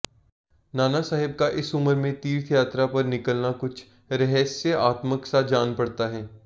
नाना साहब का इस उमर में तीर्थयात्रा पर निकलना कुछ रहस्यात्मक सा जान पड़ता है